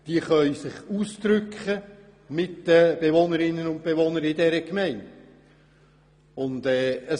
Sie können sich ausdrücken und sich mit den Bewohnerinnen und Bewohnern der Gemeinde verständigen.